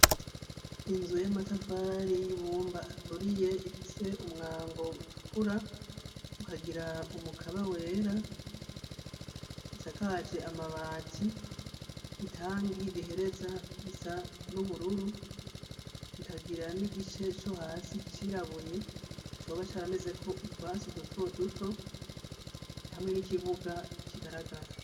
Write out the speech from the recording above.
Inzu y'amatafari y'ibumba aturiye, ifise umwango utukura, ukagira umukaba wera, isakaje amabati, itangi rihereza risa n'ubururu, ikagira n'igice co hasi cirabuye, coba caramezeko utwatsi duto duto, hamwen'ikibuga kigaragara.